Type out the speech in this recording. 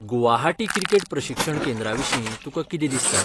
Guwahati cricket प्रशिक्षण केंद्रा विशीं तुकां कितें दिसता?